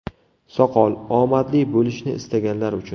Soqol – omadli bo‘lishni istaganlar uchun.